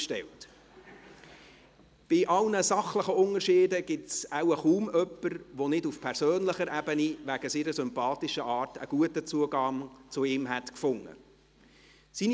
Bei allen sachlichen Unterschieden gibt es wohl kaum jemanden, der nicht auf persönlicher Ebene wegen seiner sympathischen Art einen guten Zugang zu ihm gefunden hätte.